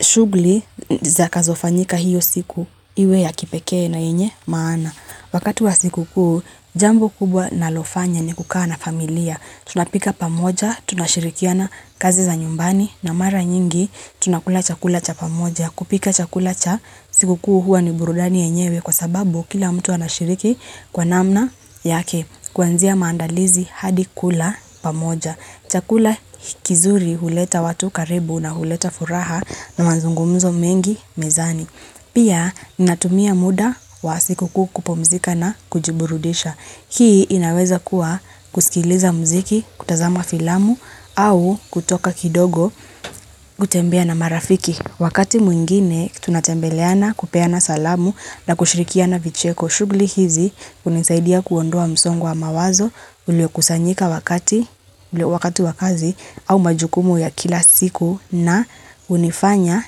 Shugli zitakazofanyika hiyo siku iwe ya kipeke na yenye maana. Wakati wa sikukuu, jambo kubwa nalofanya ni kukaa na familia. Tunapika pamoja, tunashirikiana kazi za nyumbani na mara nyingi tunakula chakula cha pamoja. Kupika chakula cha sikukuu hua ni burudani enyewe kwa sababu kila mtu anashiriki kwa namna yake. Kuanzia maandalizi hadi kula pamoja. Chakula kizuri huleta watu karibu na huleta furaha na manzungummzo mengi mezani. Pia natumia muda wa sikukuu kupumzika na kujiburudisha. Hii inaweza kuwa kusikiliza mziki kutazama filamu au kutoka kidogo kutembea na marafiki. Wakati mwingine tunatembeleana kupeana salamu na kushirikia na vicheko shugli hizi unisaidia kuondoa msongo wa mawazo ulio kusanyika wakati wakazi au majukumu ya kila siku na unifanya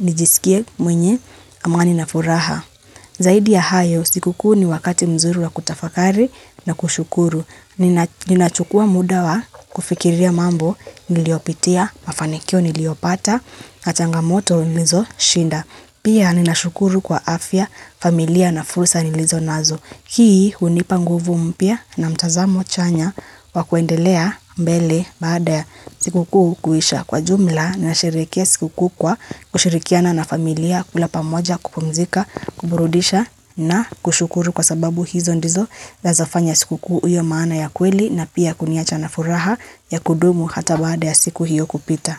nijisikie mwenye amani na furaha. Zaidi ya hayo, sikukuu ni wakati mzuri wa kutafakari na kushukuru. Ninachukua muda wa kufikiria mambo, niliopitia, mafanikio niliopata, na changamoto nilizoshinda. Pia ninashukuru kwa afya, familia na fursa nilizonazo. Hii hunipa nguvu mpia na mtazamo chanya wa kuendelea mbele baada ya siku kuhu kuisha kwa jumla na shirikia siku kuhu kwa kushirikiana na familia kulapa moja kupomzika kuburudisha na kushukuru kwa sababu hizo ndizo na zafanya siku kuhu uyo maana ya kweli na pia kuniacha na furaha ya kudumu hata baada ya siku hiyo kupita.